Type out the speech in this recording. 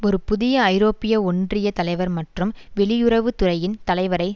ஒரு புதிய ஐரோப்பிய ஒன்றிய தலைவர் மற்றும் வெளியுறவு துறையின் தலைவரை